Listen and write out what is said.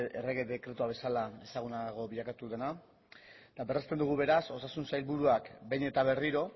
errege dekretua bezala ezagunago bilakatu dena eta berresten dugu beraz osasun sailburuak behin eta berriro